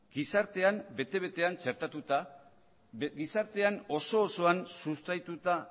gizartean bete betean txertatuta gizartean oso osoan sustraituta